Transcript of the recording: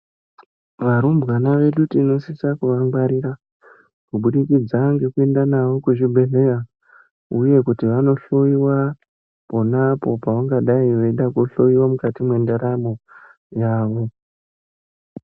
Varumbwana vedu tinosisa kuva ngwarira kubudikidza ngeku enda navo ku zvibhedhleya uye kuti vano hloyiwa ponapo pavangadai veida ku hloyiwa mukati mwe ndaramo yavo.